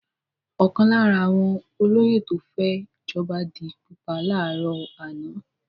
Ọ̀kan lára àwọn olóyè tó fẹ́ jọba di pípa láàárọ̀ àná.